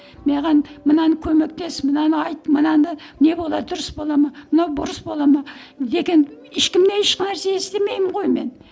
маған мынаны көмектес мынаны айт мынаны не болады дұрыс бола ма мынау бұрыс бола ма деген ешкімнен еш нәрсе естімеймін ғой мен